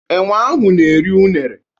Enwe ahụ na-eri unere.